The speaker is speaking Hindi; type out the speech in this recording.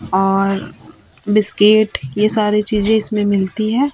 और बिस्किट यह सारी चीजे इसमें मिलती है।